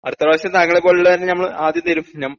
അടുത്ത പ്രാവശ്യം താങ്കളെപ്പോലുള്ള ന് ഞമ്മള് ആദ്യം തരും നം